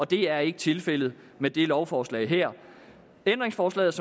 det er ikke tilfældet med det lovforslag her ændringsforslaget